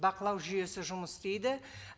бақылау жүйесі жұмыс істейді